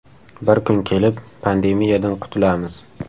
Bir kun kelib pandemiyadan qutulamiz.